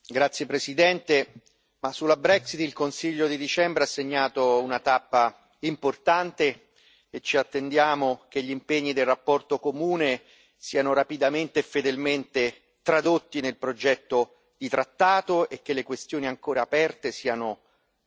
Signor Presidente, onorevoli colleghi, sulla Brexit il Consiglio europeo di dicembre ha segnato una tappa importante e ci attendiamo che gli impegni della relazione comune siano rapidamente e fedelmente tradotti nel progetto di trattato e che le questioni ancora aperte siano